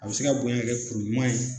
A bɛ se ka bonya ka kɛ kuru ɲuman ye